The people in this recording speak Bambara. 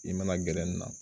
I mana gɛrɛn na